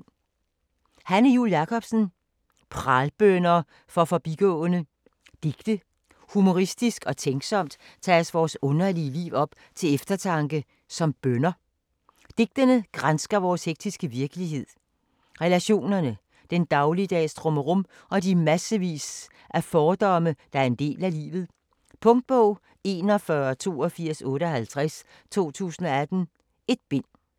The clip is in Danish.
Jul Jakobsen, Hanne: Pralbønner for forbigående Digte. Humoristisk og tænksomt tages vores underlige liv op til eftertanke, som bønner. Digtene gransker vores hektiske virkelighed, relationerne, den dagligdags trummerum og de massevis af fordomme, der er en del af livet. Punktbog 418258 2018. 1 bind.